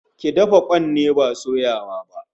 Ki dafa kwan ne, ba soyawa ba